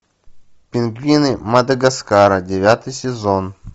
пингвины мадагаскара девятый сезон